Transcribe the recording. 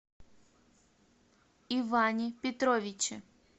иване петровиче